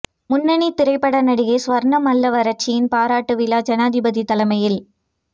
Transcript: முன்னணி திரைப்பட நடிகை சுவர்ணா மல்லவாரச்சியின் பாராட்டு விழா ஜனாதிபதி தலைமையில்